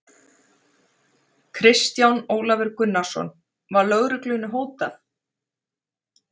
Kristján Ólafur Gunnarsson: Var lögreglunni hótað?